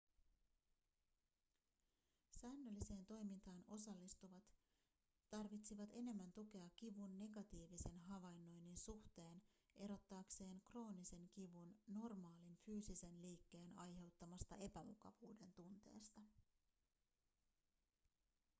säännölliseen toimintaan osallistuvat tarvitsivat enemmän tukea kivun negatiivisen havainnoinnin suhteen erottaakseen kroonisen kivun normaalin fyysisen liikkeen aiheuttamasta epämukavuuden tunteesta